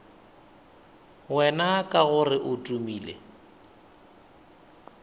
wena ka gore o tumile